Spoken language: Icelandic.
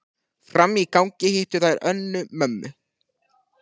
Frammi í gangi hittu þær Önnu, mömmu